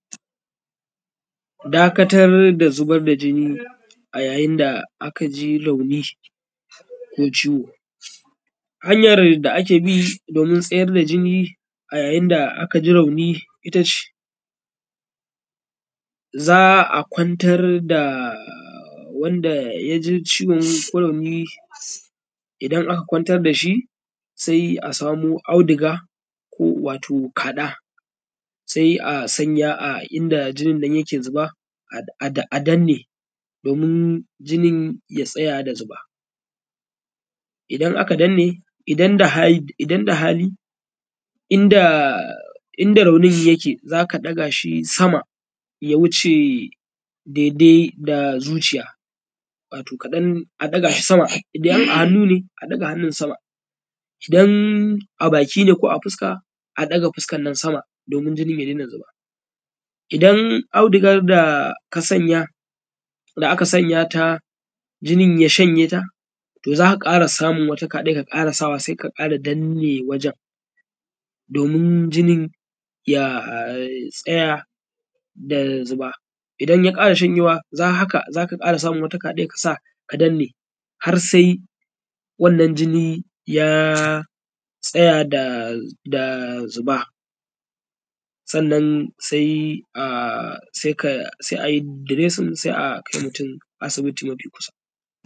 dakatar da zubar da jinni ayayin da akaji rauni ko ciwo hanyar da abi a yayi da akaji rauni ittace za’a kwantar da wanda yaji rauni idan aka kwantar dashi sai a samo auduga wato kada sai a sanya a inda jinin nan yake zuba adanne domin jinin ya tsaya da zuba idan aka danne idan da hali inda raunin yake zaka dagashi sama ya wuce dai dai da zuciya wato kadan idan a hannu ne a daga hannun sama idan a baki ne ko fuska a daga bakin sama domin jinin ya dai na zuba idan audugan da kasanaya da aka sanya ta jinin ya shanye ta to za’a kara samun wata Kaden ka sanya ta saika kara danne wajen domin jinin ya tsaya da zuba inya kara shanyewa haka za’a kara samun wata kaden ka saka ka danne har sai wannan jinni ya tsaya da zuba sannan sai ayi diresin sai akai mutun asibiti mafi kusa